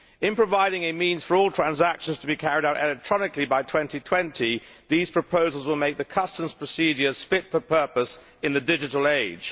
In providing a means for all transactions to be carried out electronically by 2020, these proposals will make the customs procedures fit for purpose in the digital age.